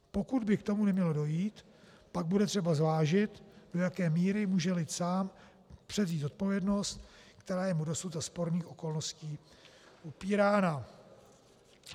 Pokud by k tomu nemělo dojít, pak bude třeba zvážit, do jaké míry může lid sám převzít zodpovědnost, která je mu dosud za sporných okolností upírána.